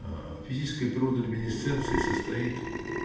аа физическая природа люминесценции состоит